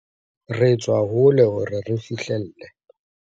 Re tswa hole hore re fihlelle